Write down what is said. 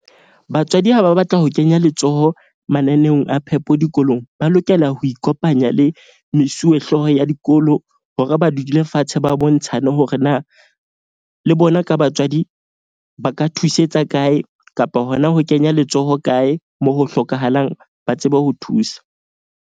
Batswadi ha ba batla ho kenya letsoho mananeong a phepo dikolong, ba lokela ho ikopanya le mesuwe hlooho ya dikolo. Hore ba dule fatshe ba bontshane hore na le bona ka batswadi, ba ka thusetsa kae kapa hona ho kenya letsoho kae moo ho hlokahalang ba tsebe ho thusa.